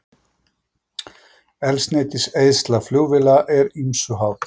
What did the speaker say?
Eldsneytiseyðsla flugvéla er ýmsu háð.